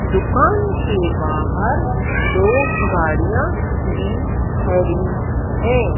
दुकान के बाहर दो गाड़ियां भी खड़ी है।